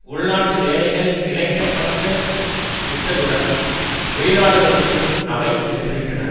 உள்நாட்டு வேலைகள் இழக்கப்பட்டு விட்டதுடன் வெளிநாடுகளுக்கும் அவை சென்றுவிட்டன